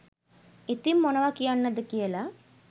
ඉතිං මොනව කියන්න ද කියල